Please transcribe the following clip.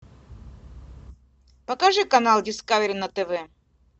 покажи канал дискавери на тв